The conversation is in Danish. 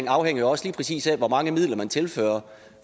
afhænger jo også lige præcis af hvor mange midler man tilfører